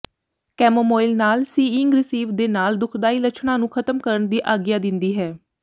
ਕੈਮੋਮੋਇਲ ਨਾਲ ਸਿਾਈਿੰਗ ਰਿਸੀਵ ਦੇ ਨਾਲ ਦੁਖਦਾਈ ਲੱਛਣਾਂ ਨੂੰ ਖ਼ਤਮ ਕਰਨ ਦੀ ਆਗਿਆ ਦਿੰਦੀ ਹੈ